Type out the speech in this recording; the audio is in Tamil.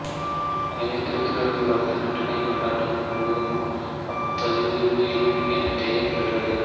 எனவே திருத்தூதர்கள் காலத்தில் நற்கருணைக் கொண்டாட்டம் முழுவதும் அப்பப் பகிர்வு எனப் பெயர் பெற்றது